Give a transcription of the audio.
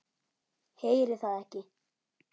Heyri það ekki.